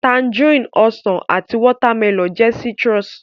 Tangerine, Ọsàn àti watermelon jẹ́ citrus